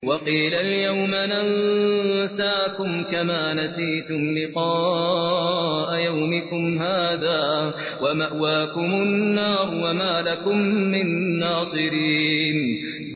وَقِيلَ الْيَوْمَ نَنسَاكُمْ كَمَا نَسِيتُمْ لِقَاءَ يَوْمِكُمْ هَٰذَا وَمَأْوَاكُمُ النَّارُ وَمَا لَكُم مِّن نَّاصِرِينَ